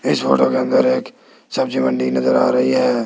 इस फोटो के अंदर एक सब्जी मंडी नजर आ रही है।